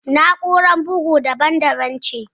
Na'urar bugu daban daban ce